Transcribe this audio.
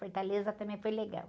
Fortaleza também foi legal.